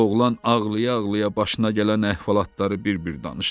Oğlan ağlaya-ağlaya başına gələn əhvalatları bir-bir danışdı.